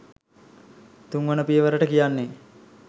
තුන්වන පියවරට කියන්නේ